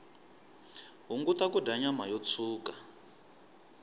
hunguta kudya nyama yo tshuka